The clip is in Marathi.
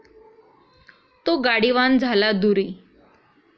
तो गाडीवान झाला दूरी ।